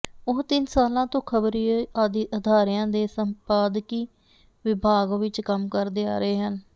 ਉਹ ਤਿੰਨ ਸਾਲਾਂ ਤੋਂ ਖ਼ਬਰੀ ਅਦਾਰਿਆਂ ਦੇ ਸੰਪਾਦਕੀ ਵਿਭਾਗ ਵਿਚ ਕੰਮ ਕਰਦੇ ਆ ਰਹੇ ਹਨ